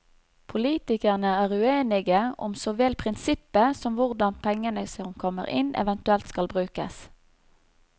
Politikerne er uenige om så vel prinsippet som hvordan pengene som kommer inn, eventuelt skal brukes.